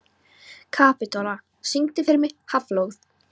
Kapitola, syngdu fyrir mig „Háflóð“.